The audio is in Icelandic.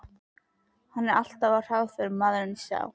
Hann er alltaf á hraðferð, maðurinn sá.